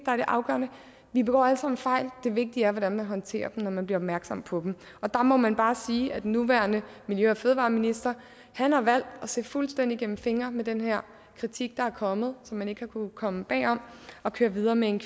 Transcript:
er det afgørende vi begår alle sammen fejl det vigtige er hvordan man håndterer dem når man bliver opmærksom på dem der må man bare sige at den nuværende miljø og fødevareminister har valgt at se fuldstændig igennem fingre med den her kritik der er kommet at man ikke har kunnet komme bag om og køre videre med en